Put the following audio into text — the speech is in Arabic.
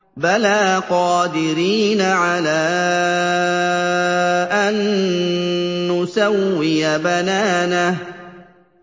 بَلَىٰ قَادِرِينَ عَلَىٰ أَن نُّسَوِّيَ بَنَانَهُ